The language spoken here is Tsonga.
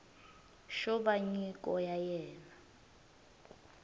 xo va nyiko ya wena